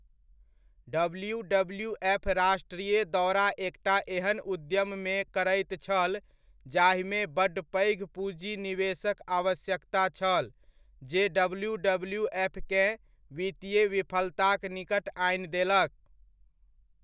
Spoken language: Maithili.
डब्ल्यूडब्ल्यूएफ राष्ट्रीय दौरा एकटा एहन उद्यममे करैत छल जाहिमे बड्ड पैघ पूजी निवेशक आवश्यकता छल, जे डब्ल्यूडब्ल्यूएफकेँ वित्तीय विफलताक निकट आनि देलक।